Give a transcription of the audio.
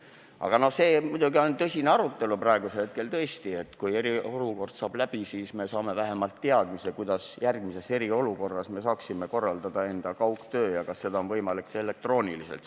Aga praegune on muidugi tõsine arutelu – tõesti, kui eriolukord saab läbi, siis me saame vähemalt teadmise, kuidas me saaksime järgmises eriolukorras korraldada enda kaugtööd ja kas seda on võimalik teha elektrooniliselt.